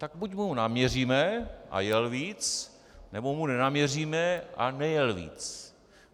Tak buď mu naměříme a jel víc, nebo mu nenaměříme a nejel víc.